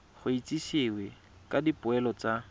go itsisiwe ka dipoelo tsa